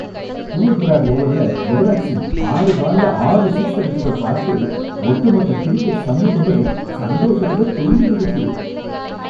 Stuart Broad ஓவர்ல யுவராஜ் சிங் ஆறு பால்ல ஆறு சிக்ஸ் அடிச்சத பார்த்து ஒட்டுமொத்த கிரிக்கெட் சமூகமே சந்தோஷத்துல துள்ளி குதிச்சது.